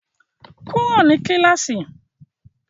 Kúrò ní kíláàsì!